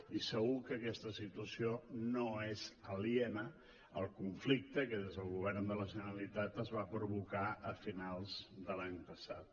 i segur que aquesta situació no és aliena al conflicte que des del govern de la generalitat es va provocar a finals de l’any passat